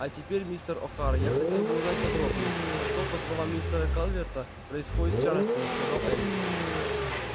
а теперь мистер охара я хотела бы узнать подробнее что по словам мистера калверта происходит в чарльстоне сказала эллин